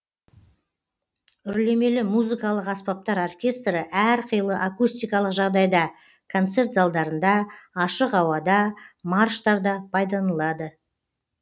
үрлемелі музыкалық аспаптар оркестрі әр қилы акустикикалық жағдайда концерт залдарында ашық ауада марштарда пайдаланылады